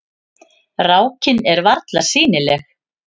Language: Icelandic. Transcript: Rákin er varla sýnileg.